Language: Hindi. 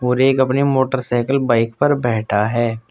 और एक अपने मोटरसाइकिल बाइक पर बैठा है।